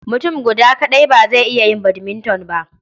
Mutum guda kaɗai ba zai iya yin badminton ba.